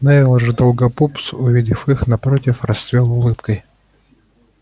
невилл же долгопупс увидев их напротив расцвёл улыбкой